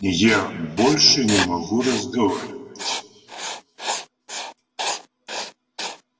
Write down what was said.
я больше не могу разговаривать